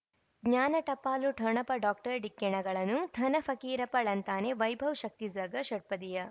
ಜ್ಞಾನ ಟಪಾಲು ಠೊಣಪ ಡಾಕ್ಟರ್ ಢಿಕ್ಕಿ ಣಗಳನು ಧನ ಫಕೀರಪ್ಪ ಳಂತಾನೆ ವೈಭವ್ ಶಕ್ತಿ ಝಗಾ ಷಟ್ಪದಿಯ